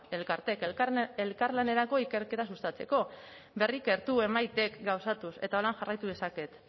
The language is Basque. elkarteek elkarlanerako ikerketa sustatzeko berrikertu emaitek gauzatuz eta holan jarraitu dezaket